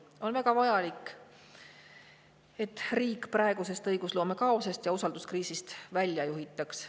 On väga vajalik, et riik praegusest õigusloome kaosest ja usalduskriisist välja juhitaks.